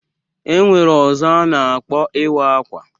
E nwere ọzọ a na-akpọ iwa akwa.